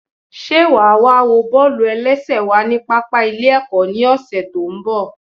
Sé wàá wá wo bọ́ọ̀lù-ẹlẹ́sẹ̀ wa ní pápá ilé ẹ̀kọ́ ní ọ̀sẹ̀ tó ń bọ̀?